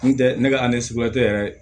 N tɛ ne ka yɛrɛ